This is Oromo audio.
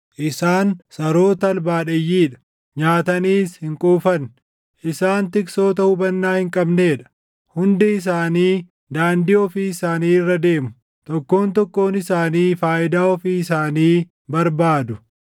Isaan saroota albaadheyyii dha; nyaataniis hin quufan. Isaan tiksoota hubannaa hin qabnee dha; hundi isaanii daandii ofii isaanii irra deemu; tokkoon tokkoon isaanii faayidaa ofii isaanii barbaadu.